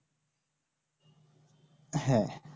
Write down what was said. হ্যাঁ